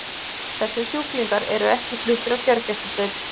Þessir sjúklingar eru ekki fluttir á gjörgæsludeild.